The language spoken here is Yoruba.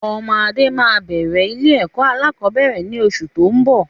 Ọmọ Adé máa bẹ̀rẹ̀ ilé ẹ̀kọ́ alakọ̀bẹ́ẹ́rẹ̀ ni oṣù tóun bọ̀.